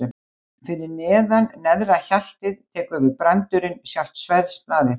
Fyrir neðan neðra hjaltið tekur við brandurinn, sjálft sverðsblaðið.